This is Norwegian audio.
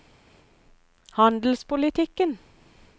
handelspolitikken